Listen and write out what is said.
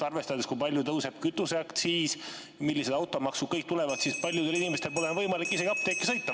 Arvestades, kui palju tõuseb kütuseaktsiis ja milline automaks tuleb ja millised veel kõik maksud tulevad, siis paljudel inimestel pole võimalik varsti isegi apteeki sõita.